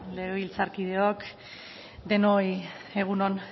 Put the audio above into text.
legebiltzarkideok denoi egun on